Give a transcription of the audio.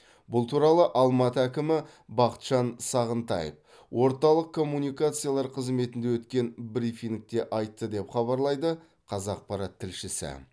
бұл туралы алматы әкімі бақытжан сағынтаев орталық коммуникациялар қызметінде өткен брифингте айтты деп хабарлайды қазақпарат тілшісі